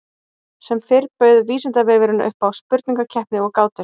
Sem fyrr bauð Vísindavefurinn upp á spurningakeppni og gátur.